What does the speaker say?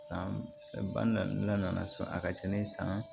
San ba naani so a ka ca ni san